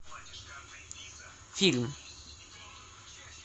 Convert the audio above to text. фильм